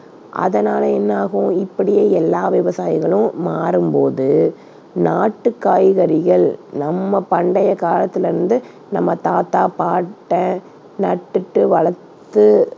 அதனால என்ன ஆகும் இப்படியே எல்லா விவசாயிகளும் மாரும்போது நாட்டு காய்கறிகள் நம்ம பண்டையகாலத்தில இருந்து நம்ம தாத்தா, பாட்டன் நட்டுட்கு வளர்த்து